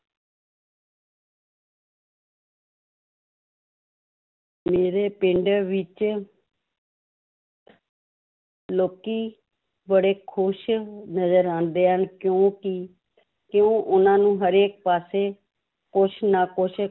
ਮੇਰੇ ਪਿੰਡ ਵਿੱਚ ਲੋਕੀ ਬੜੇ ਖ਼ੁਸ਼ ਨਜ਼ਰ ਆਉਂਦੇ ਹਨ ਕਿਉਂਕਿ ਕਿਉਂ ਉਹਨਾਂ ਨੂੰ ਹਰੇਕ ਪਾਸੇ ਕੁਛ ਨਾ ਕੁਛ